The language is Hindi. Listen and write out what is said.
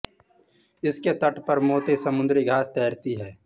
इसके तट पर मोटी समुद्री घास तैरती है